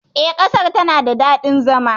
E, ƙasar tana da daɗin zama.